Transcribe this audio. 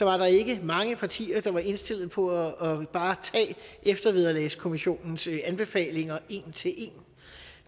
var der ikke mange partier der var indstillet på bare at tage eftervederlagskommissionens anbefalinger en til en